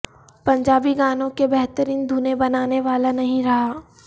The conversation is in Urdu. پنجابی گانوں کی بہترین دھنیں بنانے والا نہیں رہا